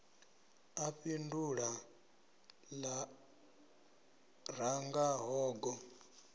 a fhindula lṅa ranga hogo